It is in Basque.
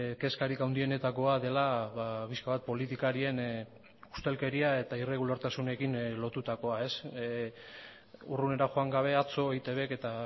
kezkarik handienetakoa dela pixka bat politikarien ustelkeria eta irregulartasunekin lotutakoa urrunera joan gabe atzo eitbk eta